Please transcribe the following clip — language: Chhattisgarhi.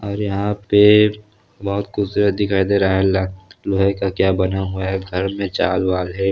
और यहाँ पे बो होत खूबसूरत दिखाई दे रहा है ल लोहे का क्या बना हुआ है घर मर चाल-वाल है।